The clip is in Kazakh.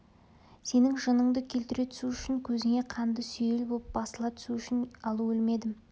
сенің жыныңды келтіре түсу үшін көзіңе қанды сүйел боп басыла түсу үшін ал өлмедім